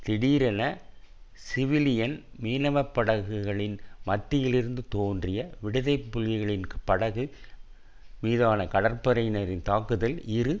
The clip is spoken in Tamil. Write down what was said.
திடீரென சிவிலியன் மீனவ படகுகளின் மத்தியிலிருந்து தோன்றிய விடுதலை புலிகளின் படகு மீதான கடற்படையினரின் தாக்குதலில் இரு